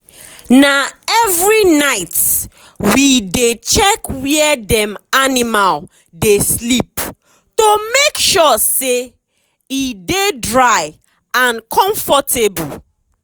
na every night we dey check where dem animal dey sleep to make sure say e dey dry and comfortable.